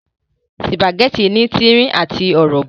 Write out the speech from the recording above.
Sùpàgẹ́tì ní tírín àti ọ̀rọ̀bọ̀